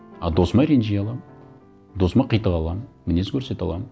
а досыма ренжи аламын досыма қитыға аламын мінез көрсете аламын